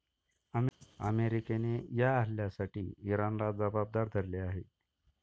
अमेरिकेने या हल्ल्यासाठी इराणला जबाबदार धरले आहे.